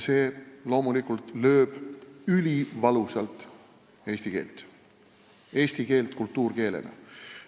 See loomulikult lööb ülivalusalt eesti keelt, eesti keelt kultuurkeelena.